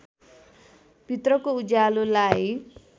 भित्रको उज्यालोलाई